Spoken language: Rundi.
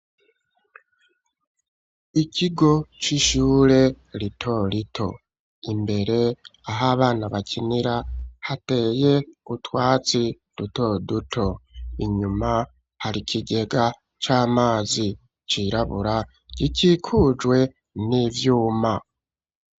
Ikigo c'ishure ritorito imbere ahabana bakinira hateye utwatsi dutoduto inyuma hari kigega c'amazi cirabura gikikujwe n'ivyuma.